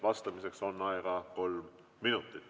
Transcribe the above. Vastamiseks on aega kolm minutit.